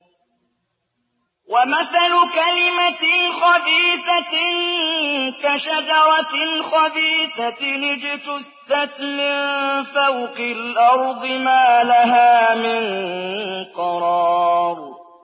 وَمَثَلُ كَلِمَةٍ خَبِيثَةٍ كَشَجَرَةٍ خَبِيثَةٍ اجْتُثَّتْ مِن فَوْقِ الْأَرْضِ مَا لَهَا مِن قَرَارٍ